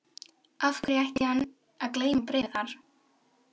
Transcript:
Af hverju ætti hann að geyma bréfið þar?